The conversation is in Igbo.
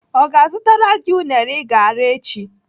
Ọ ga-azụtara gị unere I ga-ara echi?